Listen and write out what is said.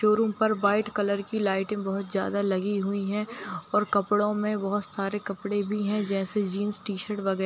showroom पर white colour की लाइटें बहुत ज़यादा लगी हुई हैं और कपड़ो में बहुत सारे कपड़े भी हैं जैसे जीन्स टी-शर्ट वगैर --